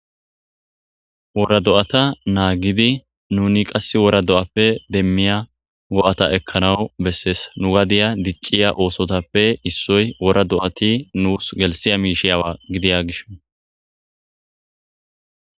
Wora do'ata naagidi nuni qasse wora do'appe demmiya go'ata ekkanaw bessees nu gadiya dicciya oosotape issoy wora do'ati nus gelssiya miisha gidiya gishshaw.